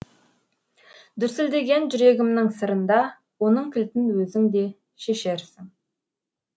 дүрсілдеген жүрегімнің сырын да оның кілтін өзің де шешерсің